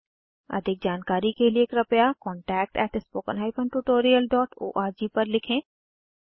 अधिक जानकारी के लिए कृपया contactspoken tutorialorg पर लिखें